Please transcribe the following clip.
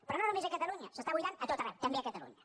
però no només a catalunya s’està buidant a tot arreu també a catalunya